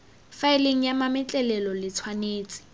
faeleng ya mametlelelo le tshwanetse